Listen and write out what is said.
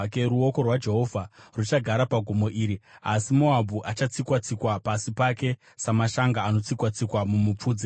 Ruoko rwaJehovha ruchagara pagomo iri, asi Moabhu achatsikwa-tsikwa pasi pake, samashanga anotsikwa-tsikwa mumupfudze.